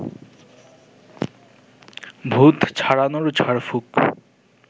ভূত ছাড়ানোর ঝাড়ফুঁক